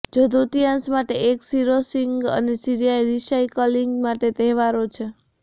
જો તૃતીયાંશ માટે એક રિસોર્સિંગ અને રિસાયક્લિંગ માટે તહેવારો છે